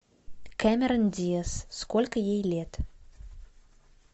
кэмерон диаз сколько ей лет